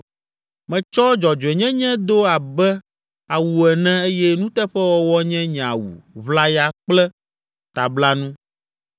Metsɔ dzɔdzɔenyenye do abe awu ene eye nuteƒewɔwɔ nye nye awu ʋlaya kple tablanu.